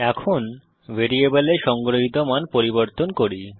এখন ভ্যারিয়েবলে সংগ্রহিত মান পরিবর্তন করি